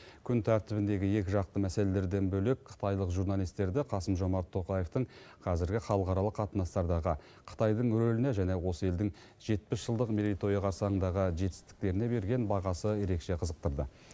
күн тәртібіндегі екіжақты мәселелерден бөлек қытайлық журналистерді қасым жомарт тоқаевтың қазіргі халықаралық қатынастардағы қытайдың рөліне және осы елдің жетпіс жылдық мерейтойы қарсаңындағы жетістіктеріне берген бағасы ерекше қызықтырды